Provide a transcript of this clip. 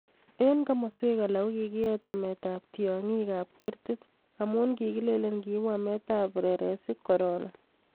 Eng' komoswek alak ko kikiet ametab tyong'ikab kerti amu kikileni kiibu ametab reresik korona